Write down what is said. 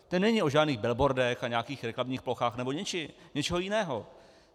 Ten není o žádných billboardech a nějakých reklamních plochách nebo něčeho jiného.